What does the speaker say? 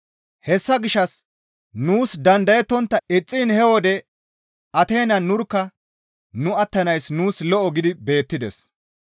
Hessa gishshas nuus dandayettontta ixxiin he wode Ateenan nurkka nu attanayssi nuus lo7o gidi beettides.